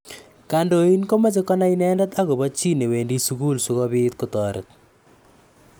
Kandoin komeche konai inendet akobo chi newendi sukul sikobit kotoret.